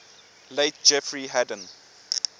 late jeffrey hadden